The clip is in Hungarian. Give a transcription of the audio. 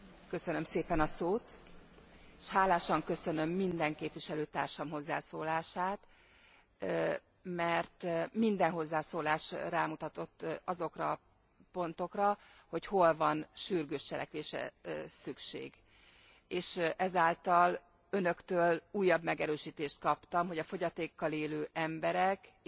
Hálásan köszönöm minden képviselőtársam hozzászólását, mert minden hozzászólás rámutatott azokra a pontokra, hogy hol van sürgős cselekvésre szükség, és ezáltal Önöktől újabb megerősítést kaptam, hogy a fogyatékkal élő emberek élethelyzete javításának